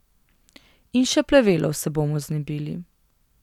In še plevelov se bomo znebili.